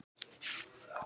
Hvað er fólk að geyma?